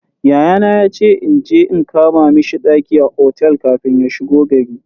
Yayana yace inje in kama mishi ɗaki a otel kafin ya shigo gari.